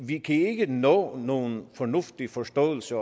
vi kan ikke nå nogen fornuftig forståelse